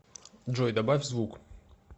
джой добавь звук